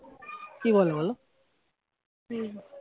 কি বলে বলো